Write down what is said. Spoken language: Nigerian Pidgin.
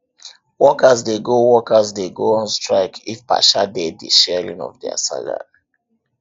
workers de go workers de go on strike if partia de di sharing of their salary